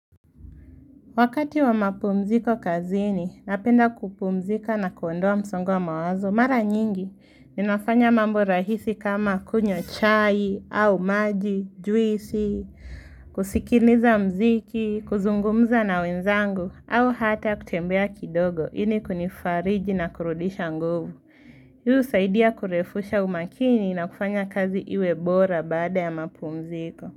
Wakati wa mapumziko kazini, napenda kupumzika na kuondoa msongo wa mawazo, mara nyingi, ninafanya mambo rahisi kama kunywa chai, au maji, juisi, kusikiliza mziki, kuzungumza na wenzangu, au hata kutembea kidogo, ili kunifariji na kurudisha nguvu. Yuhu saidia kurefusha umakini na kufanya kazi iwe bora baada ya mapumziko.